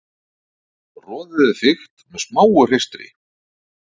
Roðið er þykkt með smáu hreistri.